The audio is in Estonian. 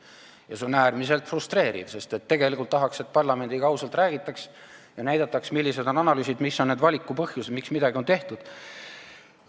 Ja see on äärmiselt frustreeriv, sest tegelikult tahaks, et parlamendiga ausalt räägitaks ja näidataks, millised on analüüsid, mis on need valiku põhjused, miks midagi on tehtud.